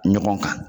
Ɲɔgɔn kan